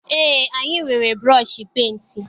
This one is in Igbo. Eé, anyị nwere bụrọshị penti.